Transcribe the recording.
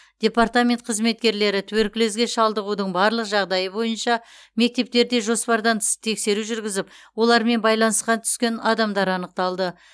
департамент қызметкерлері туберкулезге шалдығудың барлық жағдайы бойынша мектептерде жоспардан тыс тексеру жүргізіп олармен байланысқа түскен адамдар анықталды